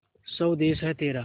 स्वदेस है तेरा